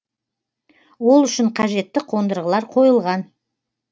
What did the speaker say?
ол үшін қажетті қондырғылар қойылған